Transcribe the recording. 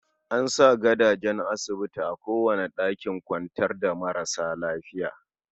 An sa gadajen asibiti a kowane ɗakin kwantar da marasa lafiya.